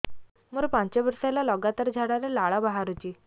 ମୋରୋ ପାଞ୍ଚ ବର୍ଷ ହେଲା ଲଗାତାର ଝାଡ଼ାରେ ଲାଳ ବାହାରୁଚି